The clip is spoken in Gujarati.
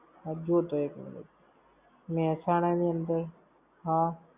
હબજે તો એક minute. મેહસાણા ની અંદર, હા